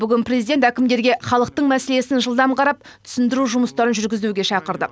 бүгін президент әкімдерге халықтың мәселесін жылдам қарап түсіндіру жұмыстарын жүргізуге шақырды